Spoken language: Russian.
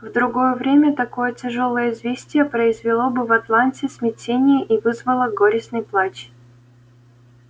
в другое время такое тяжёлое известие произвело бы в атланте смятение и вызвало горестный плач